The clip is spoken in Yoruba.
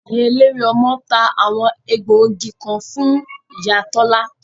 Ìyá eléwé ọmọ ta àwọn egbògi kan fún ìyá Tola